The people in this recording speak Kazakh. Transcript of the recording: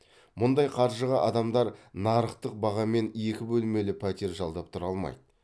мұндай қаржыға адамдар нарықтық бағамен екі бөлмелі пәтер жалдап тұра алмайды